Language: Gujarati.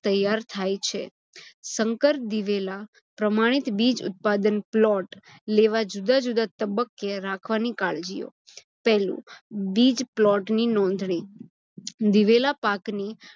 તૈયાર થાય છે. સંકર દિવેલા પ્રમાણીત બીજ ઉત્પાદન પ્લોટ લેવા જુદા-જુદા તબ્બકે રાખવાની કાળજીયો. પહેલું બીજ plot ની નોંધણી- દિવેલા પાકની